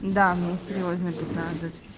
да мне серьёзно пятнадцать